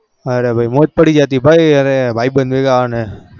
અરે ભાઈ મોજ પડી જતી ભાઈ ભાઈ બધો ભેગા અને